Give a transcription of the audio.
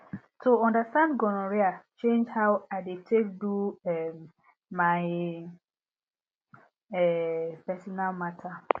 to understand gonorrhea change how i dey take do um my um personal matter